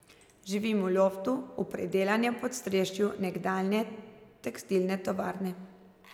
Živim v loftu, v predelanem podstrešju nekdanje tekstilne tovarne.